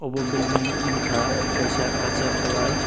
abo bilding wngkha kaisa kosak colour.